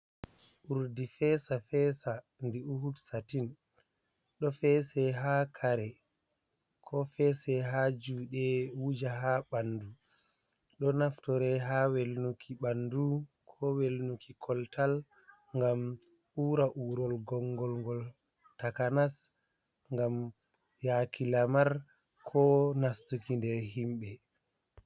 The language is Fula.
Urdi fesa fesa ndi Oud Satin ɗo fese ha kare ko fese ha juɗe wuja ha ɓandu ɗo naftire ha welnuki ɓandu ko welnuki koltal ngam ura urol gongolgol takanas ngam yaki lamar ko nastuki nder himɓe.